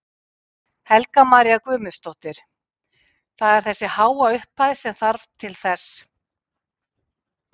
Helga María Guðmundsdóttir: Það er þessi háa upphæð sem að þarf til þess?